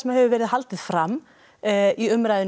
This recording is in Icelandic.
hefur verið haldið fram í umræðu nei